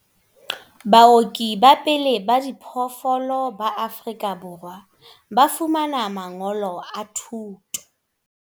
Baoki ba pele ba diphoofolo ba Afrika Borwa ba fumana mangolo a thuto.